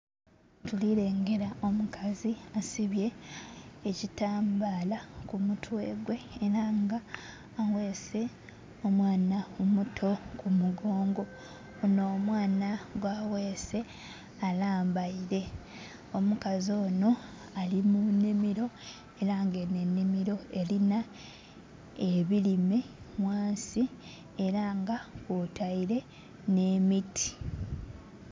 Tuli lengera omukazi asibye ekitambaala ku mutwe gwe era nga aweese omwana ku mugongo, on'omwana gw'aweese alambaire. Omukazi ono ali mu nnhimiro era nga eno ennhimiro erinha ebirime ghansi, era nga kwotaire n'emiti.